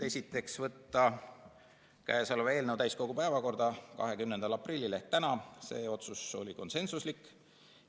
Esiteks, võtta käesolev eelnõu täiskogu päevakorda 20. aprilliks ehk tänaseks, see otsus oli konsensuslik.